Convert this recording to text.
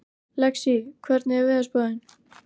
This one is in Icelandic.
Lexí, hvernig er veðurspáin?